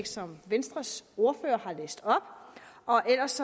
som venstres ordfører har læst op og ellers